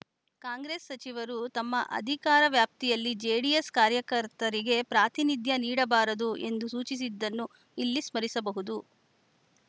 ಕಾಂಗ್ರೆಸ್‌ ಸಚಿವರು ತಮ್ಮ ಅಧಿಕಾರ ವ್ಯಾಪ್ತಿಯಲ್ಲಿ ಜೆಡಿಎಸ್‌ ಕಾರ್ಯಕರ್ತರಿಗೆ ಪ್ರಾತಿನಿಧ್ಯ ನೀಡಬಾರದು ಎಂದು ಸೂಚಿಸಿದ್ದನ್ನು ಇಲ್ಲಿ ಸ್ಮರಿಸಬಹುದು